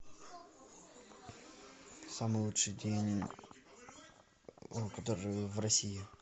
самый лучший день который в россии